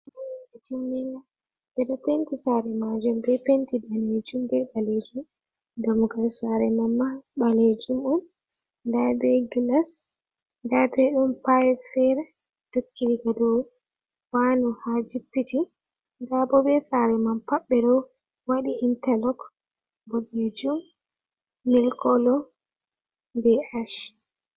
Ejimmmingo bedo penti sare majum be penti danejum be baleji damgal sare mamma baleji muɗum daibe glas dabe dum pirat fere dokkidiga dow banu ha jippiti dabo be sare man pabbe do wadi interlog bogejum melkolo be sh.